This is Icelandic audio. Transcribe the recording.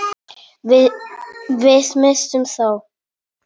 Við misstum þá.